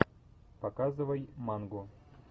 показывай мангу